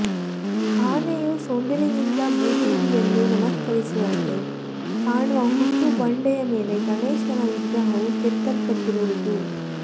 ಆನೆಯು ಸೊಂಡಿಲಿನಿಂದ ಭೂದೇವಿಯನ್ನು ನಮಸ್ಕರಿಸುವಂತೆ ಕಾಣುವ ಹುಟ್ಟು ಬಂಡೆಯ ಮೇಲೆ ಗಣೇಶನ ವಿಗ್ರಹವು ಕೆತ್ತಲ್ಪಟ್ಟಿರುವುದು